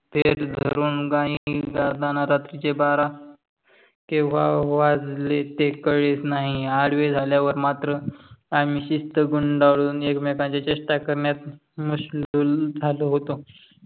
धरून गाणी गाताना रात्री चे बार केव्हा वाजले ते कळलेच नाही. अडवहे झाल्या वर मात्र आम्ही शिष्ट गुंडाळून अकमेकांच्या चेष्टा करण्यात मशलूल झालो होतो.